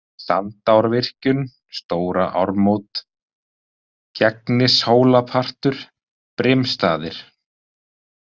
Sandárvirkjun, Stóra Ármót, Gegnishólapartur, Brimstaðir